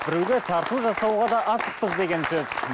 біреуге тарту жасауға да асықпыз деген сөз